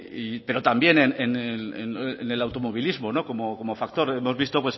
pero también en el automovilismo como factor hemos visto